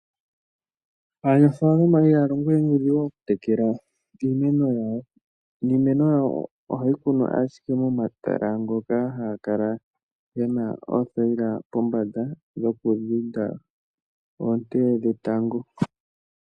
Aanafalama ihaya longo we nuudhingu oku tekela iimeno yawo, niimeno yawo ohayi kunwa ashike momatala ngoka gena oothaila pombanda dhoku dhinda oonte dhetango.